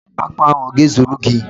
Akpo ahu o ga-ezuru gi?